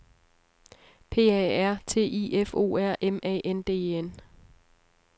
P A R T I F O R M A N D E N